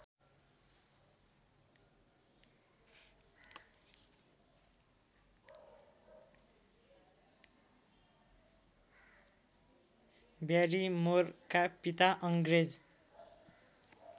ब्यारिमोरका पिता अङ्ग्रेज